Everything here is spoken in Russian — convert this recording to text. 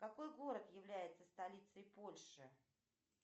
какой город является столицей польши